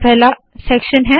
यह पहला सेक्शन है